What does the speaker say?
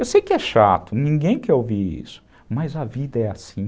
Eu sei que é chato, ninguém quer ouvir isso, mas a vida é assim.